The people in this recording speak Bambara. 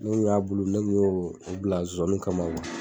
Mun y'a bulu ne kun y'o bila kama ma